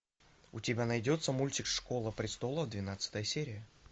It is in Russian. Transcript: у тебя найдется мультик школа престолов двенадцатая серия